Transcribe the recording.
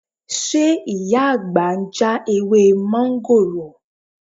Ṣé Ìyá àgbà ń já ewé mọ́ńgòrò?